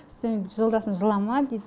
сомен жолдасым жылама дейді